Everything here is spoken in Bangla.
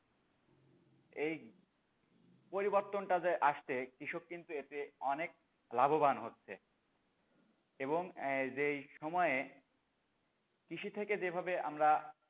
এই পরিবর্তনটা যে আসছে কৃষক কিন্তু এতে অনেক লাভবান হচ্ছে এবং যেই সময়ে কৃষি থেকে যেভাবে আমরা,